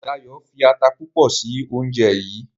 Dayo fí atá púpọ sí oúnjẹ yí.